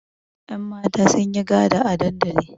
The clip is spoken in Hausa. Yanmata sun yi gada a dandali.